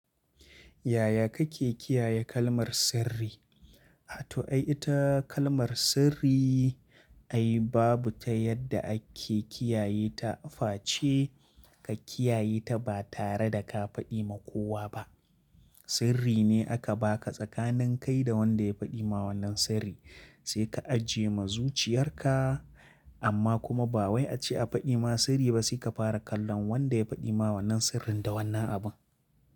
Yaya kake kiyaye kalmar sirri? A to ai ita kalmar sirri ai babu ta yadda ake kiyaye ta face ka kiyaye ta ba tare da ka faɗi ma kowa ba. Sirri ne aka ba ka tsakanin kai da wanda ya faɗi ma wannan sirri sai ka ajiye ma zuciyarka amma kuma ba wai a ce a faɗi ma sirri ba sai ka fara kallon wanda ya faɗi ma wannan sirrin da wannan abun.